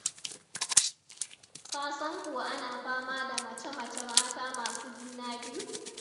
Ka san kuwa ana fama da mace-mace mata masu juna biyu?